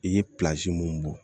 I ye mun bɔ